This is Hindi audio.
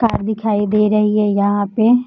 कार दिखाई दे रही है यहाँ पे।